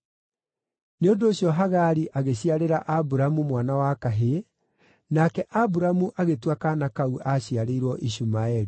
Nĩ ũndũ ũcio Hagari agĩciarĩra Aburamu mwana wa kahĩĩ, nake Aburamu agĩtua kaana kau aaciarĩirwo Ishumaeli.